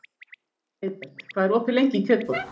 Heiðbert, hvað er opið lengi í Kjötborg?